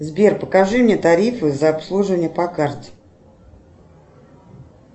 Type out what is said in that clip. сбер покажи мне тарифы за обслуживание по карте